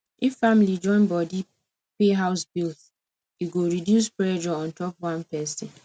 if family join body pay house bills e go reduce pressure on top one person